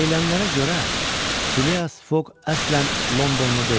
Deyilənlərə görə, Fileas Foq əslən Londonlu deyildi.